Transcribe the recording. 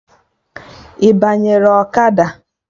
Ị banyere ọkada?